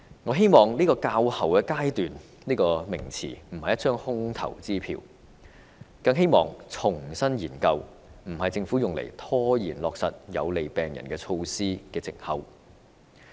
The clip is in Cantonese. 我希望"較後階段"一詞並非一張空頭支票，更希望"重新研究"不是政府用來拖延落實有利病人措施的藉口。